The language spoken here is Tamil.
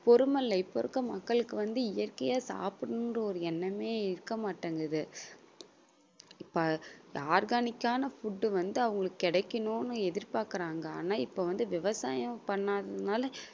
பொறுமை இல்ல. இப்ப இருக்க மக்களுக்கு வந்து இயற்கையா சாப்பிடணும் என்ற ஒரு எண்ணமே இருக்க மாட்டேங்குது. இப்ப organic ஆன food வந்து அவங்களுக்கு கிடைக்கணும்னு எதிர்பார்க்குறாங்க ஆன இப்பவந்து விவசாயம் பண்ணாததுனால